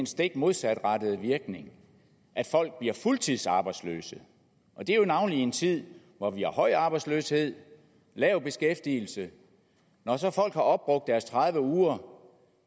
stik modsatrettede virkning at folk bliver fuldtidsarbejdsløse navnlig i en tid hvor vi har høj arbejdsløshed og lav beskæftigelse når så folk har opbrugt deres tredive uger